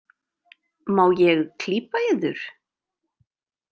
Má ég klípa yður?